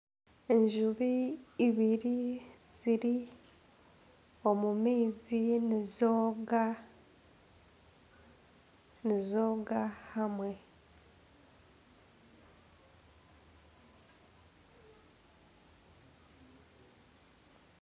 Enjubu ibiri ziri omu maizi nizooga ,nizooga hamwe